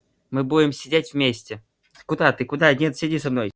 мы будем сидеть вместе куда ты куда нет сиди со мной